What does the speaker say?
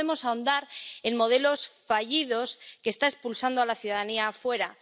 No podemos ahondar en modelos fallidos que están expulsando a la ciudadanía afuera.